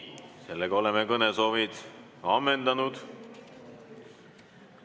Sellega oleme kõnesoovid ammendanud.